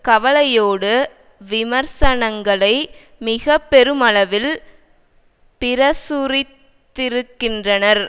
கவலையோடு விமர்சனங்களை மிக பெருமளவில் பிரசுரித்திருக்கின்றனர்